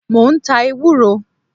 Mo ń ta ewúro.